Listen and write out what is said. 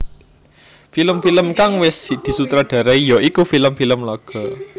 Film film kang wis disutradarai ya iku film film laga